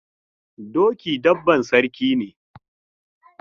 Doki dabban saraki ne.